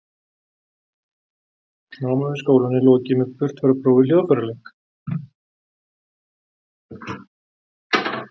námi við skólann er lokið með burtfararprófi í hljóðfæraleik